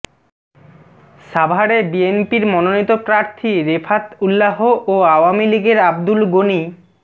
সাভারে বিএনপির মনোনীত প্রার্থী রেফাত উল্লাহ ও আওয়ামী লীগের আব্দুল গণি